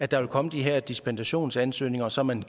der komme de her dispensationsansøgninger så man